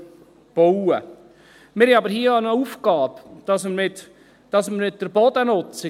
Wir haben aber hier auch eine Aufgabe: das mit der Bodennutzung.